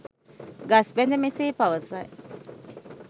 ගස් බැද මෙසේ පවසයි.